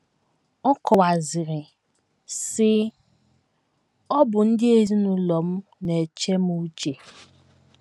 Ọ kọwaziri, sị: “ Ọ bụ ndị ezinụlọ m na - eche m uche. ”